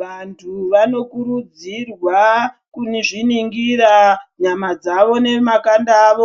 Vantu vanokurudzirwa kunizviningira Nyama dzawo nemakanda awo